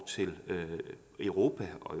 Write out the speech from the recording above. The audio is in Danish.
til europa og